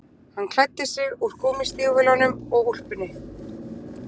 Hann klæddi sig úr gúmmístígvélunum og úlpunni